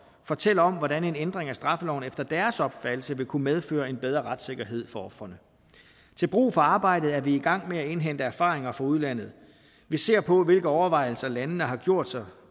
fortæller om hvordan en ændring af straffeloven efter deres opfattelse vil kunne medføre en bedre retssikkerhed for ofrene til brug for arbejdet er vi i gang med at indhente erfaringer fra udlandet vi ser på hvilke overvejelser landene har gjort sig